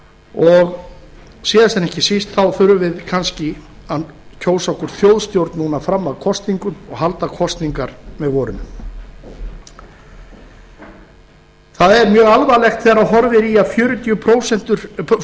og síðast en ekki síst þurfum við kannski að kjósa okkur þjóðstjórn núna fram að kosningum og halda kosningar með vorinu það er mjög alvarlegt þegar horfir í að